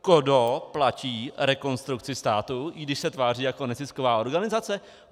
Kdo platí Rekonstrukci státu, i když se tváří jako nezisková organizace?